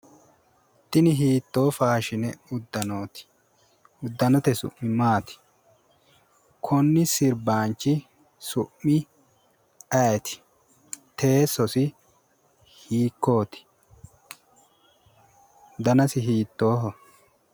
Tini hiittoo faaashine uddanooti? Uddanote su'mi maati? Konni sirbaanchi su'mi ayeeti? Teessosi hiikkooti? Danasi hiittooho?